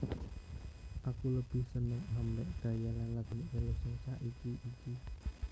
Aku lebih seneng ambek gaya lan lagune Ello sing saiki iki